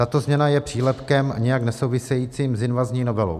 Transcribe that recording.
Tato změna je přílepkem nijak nesouvisejícím s invazní novelou.